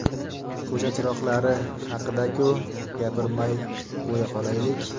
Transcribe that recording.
Ko‘cha chiroqlari haqida-ku, gapirmay qo‘ya qolaylik!